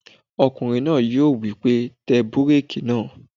Ọkùnrin náà yóò wí pé "tẹ búrèkì náà!"